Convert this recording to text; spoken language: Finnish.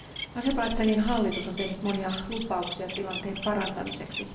Azerbaidžanin hallitus on tehnyt monia lupauksia tilanteen parantamiseksi.